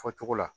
Fɔcogo la